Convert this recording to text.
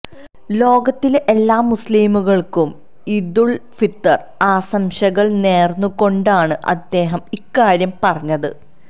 ലോകത്തിലെ എല്ലാ മുസ്ലീംങ്ങള്ക്കും ഈദുള് ഫിത്തര് ആശംസകള് നേര്ന്ന് കൊണ്ടാണ് അദ്ദേഹം ഇക്കാര്യം പറഞ്ഞത്